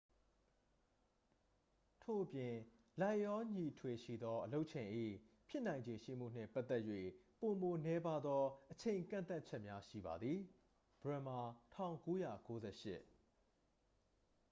ထို့အပြင်၊ လိုက်လျောညီထွေရှိသောအလုပ်ချိန်၏ ဖြစ်နိုင်ခြေရှိမှုနှင့်ပတ်သက်၍ ပိုမိုနည်းပါးသော အချိန်ကန့်သတ်ချက်များရှိပါသည်။ bremer၊ ၁၉၉၈